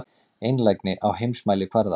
Einlægni á heimsmælikvarða.